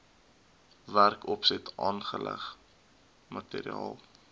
werkopset aanleg materiaal